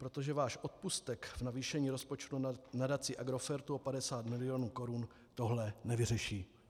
Protože váš odpustek v navýšení rozpočtu Nadaci Agrofertu o 50 milionů korun tohle nevyřeší.